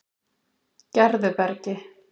Gerðubergi